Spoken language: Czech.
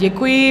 Děkuji.